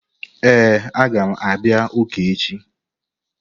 Ee, a ga m abia uka echi.